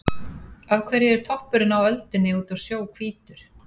Af hverju er toppurinn á öldunni úti á sjó hvítur?